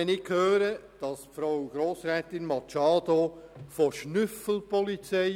Frau Grossrätin Machado Rebmann spricht von Schnüffelpolizei.